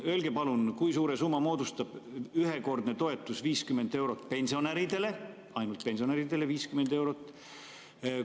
Öelge palun, kui suure summa moodustab ühekordne toetus 50 eurot pensionäridele – ainult pensionäridele 50 eurot?